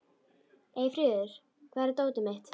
Eyfríður, hvar er dótið mitt?